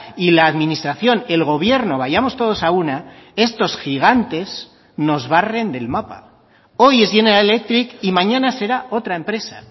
y la administración el gobierno vayamos todos a una estos gigantes nos barren del mapa hoy es general electric y mañana será otra empresa